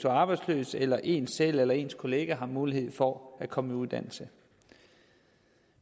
arbejdsløs eller en selv eller ens kollega har mulighed for at komme i uddannelse